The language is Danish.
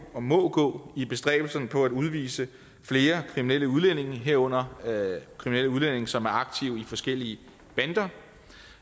og må gå i bestræbelserne på at udvise flere kriminelle udlændinge herunder kriminelle udlændinge som er aktive i forskellige bander